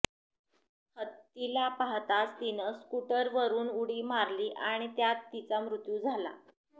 हत्तीला पाहताच तिनं स्कूटरवरून उडी मारली आणि त्यात तिचा मृत्यू झाला